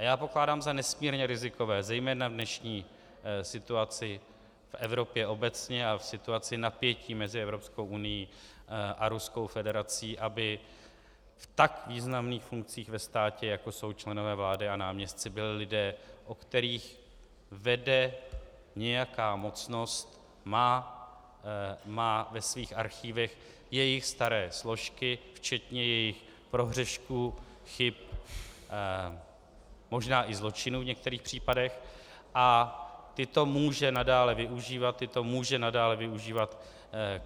A já pokládám za nesmírně rizikové, zejména v dnešní situaci v Evropě obecně a v situaci napětí mezi Evropskou unií a Ruskou federací, aby v tak významných funkcích ve státě, jako jsou členové vlády a náměstci, byli lidé, o kterých vede nějaká mocnost, má ve svých archivech jejich staré složky včetně jejich prohřešků, chyb, možná i zločinů v některých případech a tyto může nadále využívat, tyto může nadále využívat